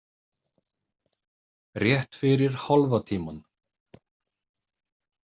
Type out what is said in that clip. Rétt fyrir hálfa tímann.